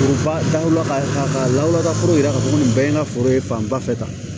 Foroba daw la ka lawura foro yira k'a fɔ ko nin bɛɛ ye n ka foro ye fanba fɛ ta